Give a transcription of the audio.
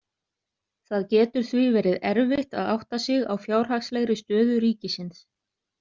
Það getur því verið erfitt að átta sig á fjárhagslegri stöðu ríkisins.